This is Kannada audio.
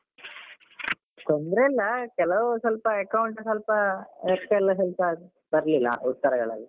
ತೊಂದ್ರೆ ಇಲ್ಲ ಕೆಲಾವ್ ಸ್ವಲ್ಪ accounts ಸ್ವಲ್ಪ ಲೆಕ್ಕಯೆಲ್ಲ ಸ್ವಲ್ಪ ಬರ್ಲಿಲ್ಲ ಉತ್ತರಗಳೆಲ್ಲ.